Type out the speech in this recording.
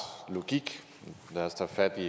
logik lad os tage fat i